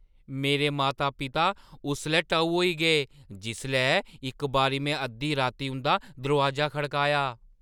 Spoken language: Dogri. मेरे माता-पिता उसलै टऊ होई गे जिसलै इक बारी में अद्धी राती उंʼदा दरोआजा खड़काया।